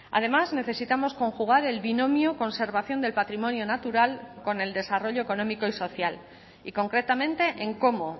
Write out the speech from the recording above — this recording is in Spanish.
además necesitamos conjugar el binomio conservación del patrimonio natural con el desarrollo económico y social y concretamente en cómo